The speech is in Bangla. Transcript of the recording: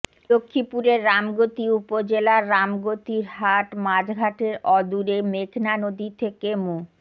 লক্ষ্মীপুরের রামগতি উপজেলার রামগতিরহাট মাছঘাটের অদূরে মেঘনা নদী থেকে মো